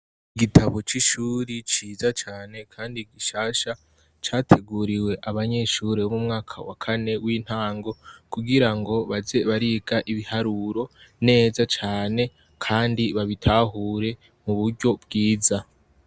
Igitabu c'ishure ciza cane kandi gishasha. Categuriwe abanyeshure bo mu mwaka wa kane w'intango, kugira ngo baze bariga ibiharuro neza cane kandi babitahure mu buryo bwiza.